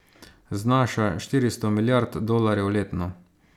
Znaša štiristo milijard dolarjev letno.